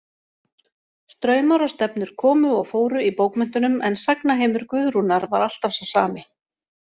Straumar og stefnur komu og fóru í bókmenntunum en sagnaheimur Guðrúnar var alltaf sá sami.